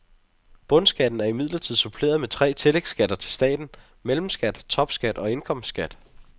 Bundskatten er imidlertid suppleret med tre tillægsskatter til staten, mellemskat, topskat og indkomstskat.